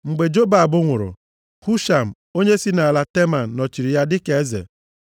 Mgbe Jobab nwụrụ, Husham onye si nʼala Teman nọchiri ya dịka eze.